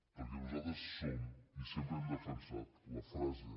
perquè nosaltres som i sempre hem defensat la frase